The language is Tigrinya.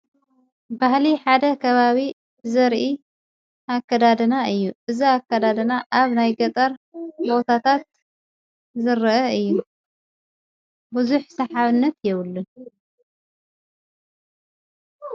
ባህሊ ሓደ ኸባቢ ዘርኢ ኣከዳድና እዩ። እዛ ኣከዳደና ኣብ ናይ ገጠር በዉታታት ዘርአ እዩ ።ብዙኅ ስሓብነት የብሉን።